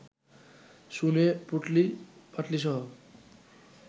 শুনে, পুঁটলি-পাঁটলিসহ